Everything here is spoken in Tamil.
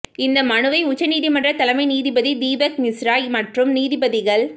இந்த மனுவை உச்சநீதிமன்ற தலைமை நீதிபதி தீபக் மிஸ்ரா மற்றும் நீதிபதிகள்